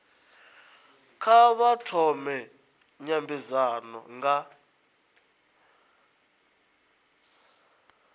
kha vha thome nymbedzano nga